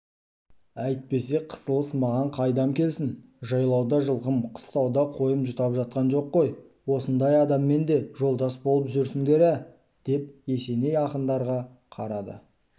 әйтпесе қысылыс маған қайдам келсін жайлауда жылқым қыстауда қойым жұтап жатқан жоқ қой осындай адаммен де жолдас болып жүресіңдер ә деп есеней ақындарға қарады